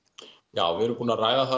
já við erum búin að ræða það